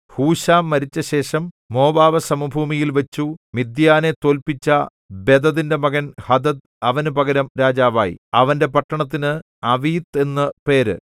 ഹൂശാം മരിച്ചശേഷം മോവാബ് സമഭൂമിയിൽവച്ചു മിദ്യാനെ തോല്പിച്ച ബദദിന്റെ മകൻ ഹദദ് അവന് പകരം രാജാവായി അവന്റെ പട്ടണത്തിന് അവീത്ത് എന്നു പേര്